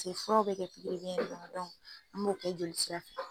pase furaw be kɛ pikiri biyɛn de la dɔnku an b'o kɛ jolisira fɛ